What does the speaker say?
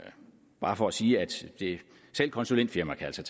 bare for at sige at selv et konsulentfirma altså